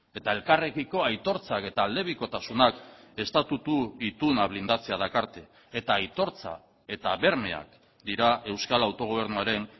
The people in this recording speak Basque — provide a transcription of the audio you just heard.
eta elkarrekiko aitortzak eta aldebikotasunak estatutu ituna blindatzea dakarte eta aitortza eta bermeak dira euskal autogobernuaren